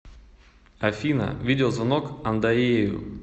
афина видеозвонок андоею